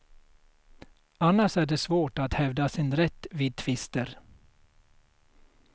Annars är det svårt att hävda sin rätt vid tvister.